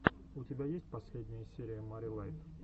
у тебя есть последняя серия мари лайт